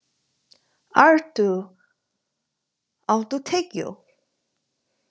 Artúr, áttu tyggjó?